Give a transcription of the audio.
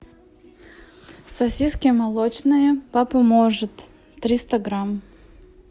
сосиски молочные папа может триста грамм